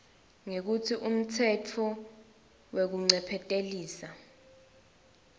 ngekutsi ngumtsetfo wekuncephetelisa